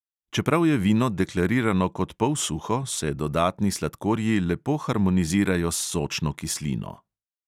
Čeprav je vino deklarirano kot polsuho, se dodatni sladkorji lepo harmonizirajo s sočno kislino.